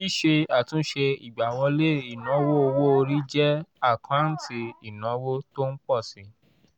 síse àtúnṣe ìgbáwọlé ìnáwó owó orí jẹ́ àkáǹtì ìnáwó tó ń pọ̀ si